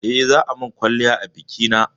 Eh, za a min kwalliya a bikina